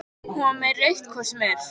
Hún var með rautt hvort sem er.